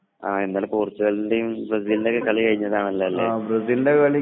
അതെ അതുകൊണ്ടാണ് ഫോൺ എടുക്കാൻ വൈകിയത് . അഹ് ഒരു ഹാങ്ങ് ഓവറിൽ ആയിരുന്നു